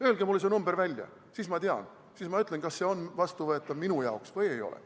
Öelge mulle see number välja, siis ma tean, siis ma ütlen, kas see on minu jaoks vastuvõetav või ei ole.